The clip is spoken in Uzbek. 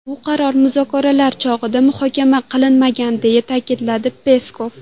Bu qaror muzokaralar chog‘ida muhokama qilinmagan”, deya ta’kidlagan Peskov.